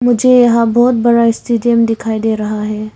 मुझे यहां बहुत बड़ा स्टेडियम दिखाई दे रहा है।